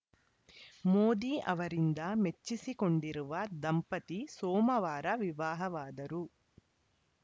ಮೋದಿ ಅವರಿಂದ ಮೆಚ್ಚಿಸಿಕೊಂಡಿರುವ ದಂಪತಿ ಸೋಮವಾರ ವಿವಾಹವಾದರು